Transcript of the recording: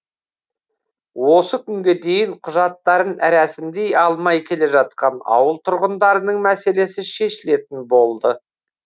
осы күнге дейін құжаттарын рәсімдей алмай келе жатқан ауыл тұрғындарының мәселесі шешілетін болды